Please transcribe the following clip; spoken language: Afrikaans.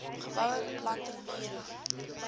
geboue beplanting mure